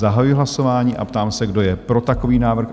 Zahajuji hlasování a ptám se, kdo je pro takový návrh?